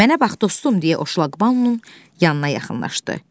Mənə bax dostum, deyə Oşlaq Bannon yanına yaxınlaşdı.